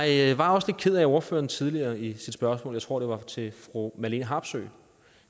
jeg var også lidt ked af at ordføreren tidligere i sit spørgsmål jeg tror det var til fru marlene harpsøe